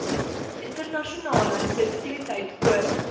internasionale sensitiwiteit oor